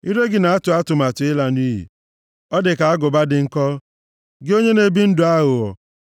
Ire gị na-atụ atụmatụ ịla nʼiyi; ọ dị ka agụba dị nkọ, gị onye na-ebi ndụ aghụghọ.